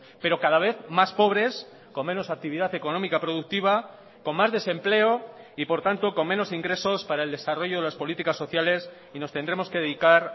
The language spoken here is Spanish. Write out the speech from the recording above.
pero cada vez más pobres con menos actividad económica productiva con más desempleo y por tanto con menos ingresos para el desarrollo de las políticas sociales y nos tendremos que dedicar